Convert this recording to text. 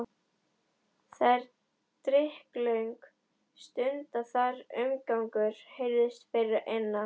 Það leið drykklöng stund þar til umgangur heyrðist fyrir innan.